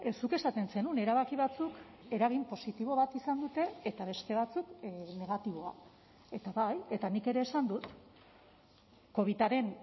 zuk esaten zenuen erabaki batzuk eragin positibo bat izan dute eta beste batzuk negatiboa eta bai eta nik ere esan dut covidaren